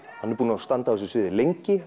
hann er búinn að standa á þessu sviði lengi